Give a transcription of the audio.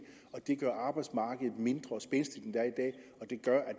det gør arbejdsmarkedet mindre spændstigt end det